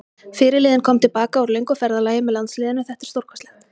Fyrirliðinn kom til baka úr löngu ferðalagi með landsliðinu, þetta er stórkostlegt.